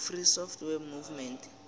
free software movement